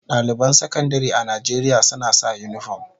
Daliban Sakandare a Najeriya suna sa unifom.